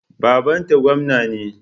Babanta gwamna ne.